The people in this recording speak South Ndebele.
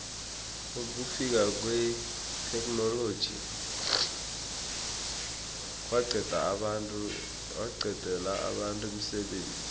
ukufika kwetheknoloji kwaqedela abantu umsebenzi